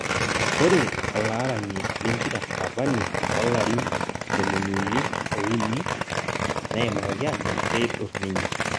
Ore olarani lempira Cavani loo larin ntomoni uni o uni neimakaki ajo keidur ninye